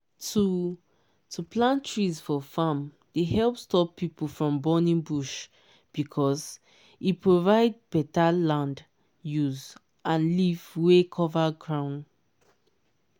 to to plant trees for farm dey help stop people from burning bush because e provide better land use and leaf wey cover ground.